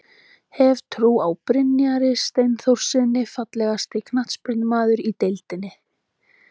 Hef trú á Brynjari Steinþórssyni Fallegasti knattspyrnumaðurinn í deildinni?